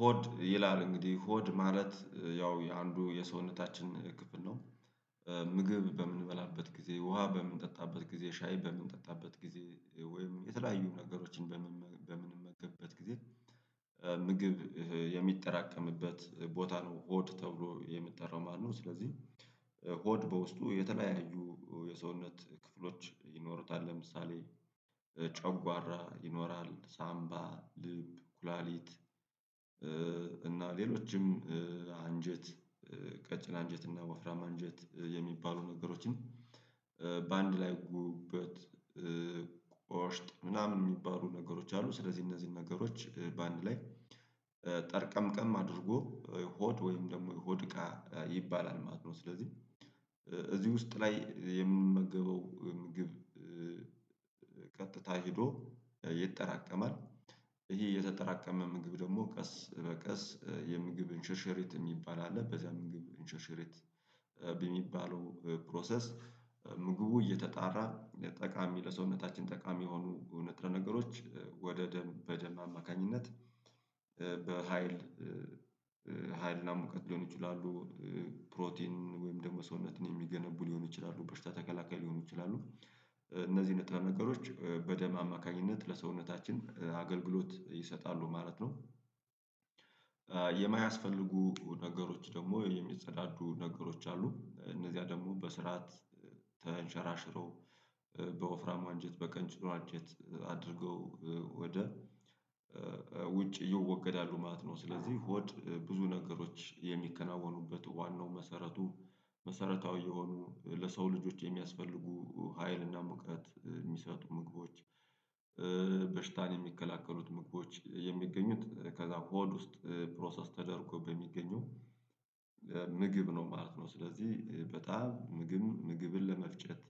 ሆድ ይላል እንግዲህ ሆድ ማለት ያው የአንዱ የሰውነታችን ክፍል ነው። ምግብ በምንበላበት ጊዜ ውሃ በምንጠጣበት ጊዜ ሻይ በምንጠጣበት ጊዜ ወይም የተለያዩ ነገሮችን በምንመገብበት ጊዜ ምግብ የሚጠራቀምበት ቦታ ነው ሆድ ተብሎ የሚጠራው ማለት ነው። ስለዚህ ሆድ በውስጡ የተለያዩ የሰውነት ክፍሎች ይኖሩታል ለምሳሌ ጨጓራ ይኖራል ሳምባ ልብ ኩላሊት እና ሌሎችም አንጀት ቀጭን አንጀት እና ወፍራም አንጀት የሚባሉ ነገሮችን በአንድ ላይ ጉበት ቆሽት ምናምን የሚባሉ ነገሮች አሉ። ስለዚህ እነዚህን ነገሮች በአንድ ላይ ጠርቀምቀም አድርጎ ሆድ ወይም ደግሞ የሆድ እቃ ይባላል ማለት ነው። ስለዚህ እዚህ ውስጥ ላይ የምመገበው ምግብ ቀጥታ ሄዶ ይጠራቀማል። ይሄ የተጠራቀመ ምግብ ደግሞ ቀስ በቀስ የምግብ እንሸርሸሪት የሚባል አለ በዚያ ምግብ እንሸርሸሪት በሚባለው ፕሮሰስ ምግቡ እየተጣራ ጠቃሚ ለሰውነታችን ጠቃሚ የሆኑ ንጥረ ነገሮች ወደ ደም በደም አማካኝነት በሃይል ሀይልና ሙቀት ሊሆኑ ይችላሉ። ፕሮቲን ወይም ደግሞ ሰውነትን የሚገነቡ ሊሆን ይችላሉ በሽታ ተከላካይ ሊሆኑ ይችላሉ። እነዚህ ነገሮች በደም አማካኝነት ለሰውነታችን አገልግሎት ይሰጣሉ ማለት ነው። የማያስፈልጉ ነገሮች ደግሞ የሚጸዳዱ ነገሮች አሉ እነዚያ ደግሞ በስርዓት ተንሸራሽረው በወፍራም አንጀት በቀጭኑ አንጀት አድርገው ወደ ውጭ ይወገዳሉ ማለት ነው። ስለዚህ ሆድ ብዙ ነገሮች የሚከናወኑበት ዋናው መሰረቱ መሰረታዊ የሆኑ ለሰው ልጆች የሚያስፈልጉ ሀይልና ሙቀት የሚሰጡ ምግቦች በሽታን የሚከላከሉት ምግቦች የሚገኙት ከዛ ሆድ ውስጥ ፕሮሰስ ተደርጎ በሚገኙ ምግብ ነው ማለት ነው። ስለዚህ በጣም ምግብ ምግብን ለመፍጨት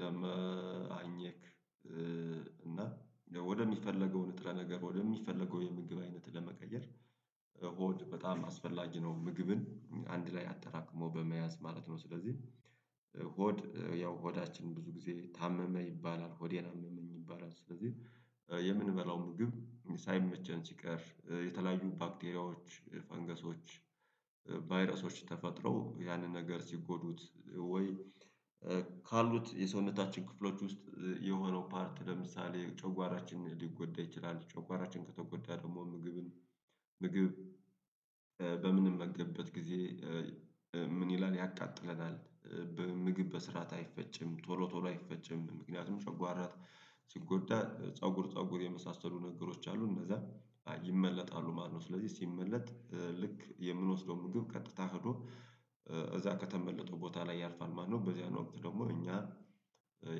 ለማኘክ እና ወደሚፈለገው ንጥረ ነገር ወደሚፈለገው የምግብ አይነት ለመቀየር ሆድ በጣም አስፈላጊ ነው። ምግብን አንድ ላይ አጠራቅሞ በመያዝ ማለት ነው። ስለዚህ ሆድ ያው ሆዳችን ብዙ ጊዜ ታመመ ይባላል ሆዴን አመመኝ ይባላል ስለዚህ የምንበላው ምግብ ሳይመቸን ሲቀር የተለያዩ ባክቴሪያዎች ፈንገሶች ቫይረሶች ተፈጥረው ያንን ነገር ሲጎዱት ወይ ካሉት የሰውነታችን ክፍሎች ውስጥ የሆነው ፓርት ለምሳሌ ጨንጓራችንን ሊጎዳ ይችላል። ጨንጓራችን ከተጎዳ ደግሞ ምግብን ምግብ በምንመገብበት ጊዜ ምን ይላል ያቃጥለናል በምግብ በስርዓት አይፈጭም ቶሎ አይፈጭም ምክንያቱም ጨጓራ ሲጎዳ ፀጉር ፀጉር የመሳሰሉ ነገሮች አሉ እነዛ ይመለጣሉ ማለት ነው። ስለዚህ ሲመለጥ ልክ የምንወስደው ምግብ ቀጥታ ሄዶ እዛ ከተመለጠው ቦታ ላይ ያልፋል ማለት ነው። በዚያን ወቅት ደግሞ እኛ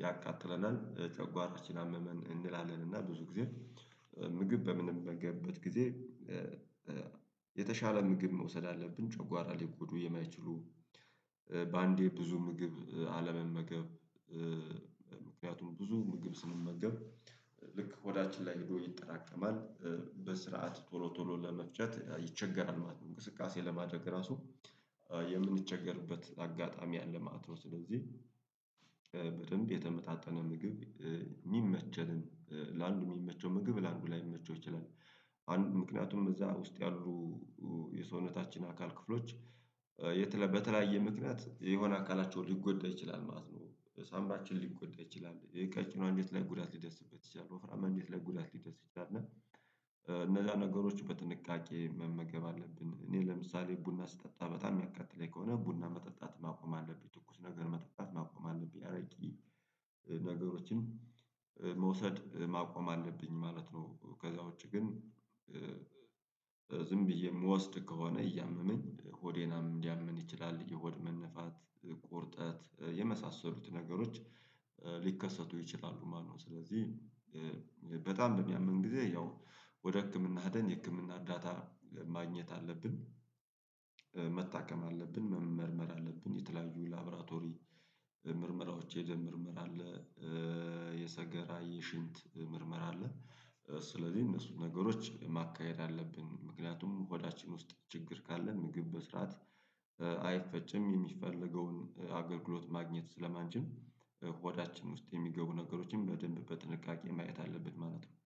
ያቃጥለናል ጨጓራችን አመመን እንላለን እና ብዙ ጊዜ ምግብ በምንበገበት ጊዜ የተሻለ ምግብ መውሰድ አለብን። ጨጓራ ሊቆዱ የማይችሉ በአንዴ ብዙ ምግብ አለመመገብ ምክንያቱም ብዙ ምግብ ስንመገብ ልክ ሆዳችን ላይ ሄዶ ይጠራቀማል በስርዓት ቶሎ ቶሎ ለመፍጨት ይቸገራል ማለት ነው። እንቅስቃሴ ለማድረግ ራሱ የምንቸገርበት አጋጣሚ አለ ማለት ነው። ስለዚህ በደንብ የተመጣጠነ ምግብ የሚመቸንም ለአንዱ የሚመቸው ምግብ ለአንዱ ላይመቸው ይችላል። አንዱ ምክንያቱም እዛ ውስጥ ያሉ የሰውነታችን አካል ክፍሎች በተለያየ ምክንያት የሆነ አካላቸው ሊጎዳ ይችላል ማለት ነው። ሳምባችን ሊጎዳ ይችላል ይሄ ቀጭኑ አንጀት ላይ ጉዳት ሊደርስበት ይችላል ወፍራም አንጀት ላይ ጉዳት ሊደርስበት ይችላል። እና እነዛ ነገሮች በጥንቃቄ መመገብ አለብን እኔ ለምሳሌ ቡና ስጠጣ በጣም የሚያቃጥለኝ ከሆነ ቡና መጠጣት ማቆም አለብኝ ትኩስ ነገር መጠጣት ማቆም አለብኝ አረቂ ነገሮችን መውሰድ ማቆም አለብኝ ማለት ነው። ከዛ ውጪ ግን ዝም ብዬ የምወስድ ከሆነ እያመመኝ ሆዴን ሊያመኝ ይችላል የሆድ መነፋት ቁርጠት የመሳሰሉት ነገሮች ሊከሰቱ ይችላሉ ማለት ነው። ስለዚህ በጣም በሚያመን ጊዜ ያው ወደ ህክምና ሄደን የህክምና እርዳታ ማግኘት አለብን። መታከም አለብን መመርመር አለብን የተለያዩ ላብራቶሪ ምርመራዎች የደም ምርመራ አለ የሰገራ የሽንት ምርመራ አለ። ስለዚህ እነሱን ነገሮች ማካሄድ አለብን ምክንያቱም ሆዳችን ውስጥ ችግር ካለ ምግብ በስርዓት አይፈጭም የሚፈልገውን አገልግሎት ማግኘት ስለማንችል ውስጥ የሚገቡ ነገሮችንም በደንብ በጥንቃቄ ማየት አለብን ማለት ነው